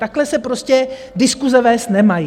Takhle se prostě diskuse vést nemají.